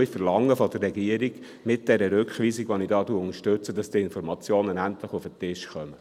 Ich verlange von der Regierung mit dieser Rückweisung, die ich unterstütze, dass die Informationen endlich auf den Tisch kommen.